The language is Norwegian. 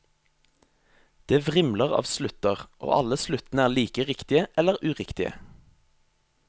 Det vrimler av slutter og alle sluttene er like riktige eller uriktige.